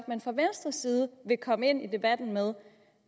man fra venstres side vil komme ind i debatten med